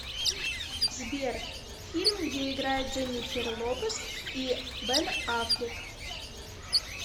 сбер фильм где играет дженнифер лопез и бен аффлек